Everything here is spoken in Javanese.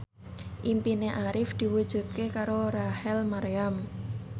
impine Arif diwujudke karo Rachel Maryam